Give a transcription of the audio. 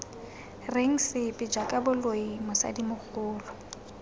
reng sepe jaaka boloi mosadimogolo